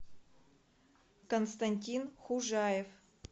константин хужаев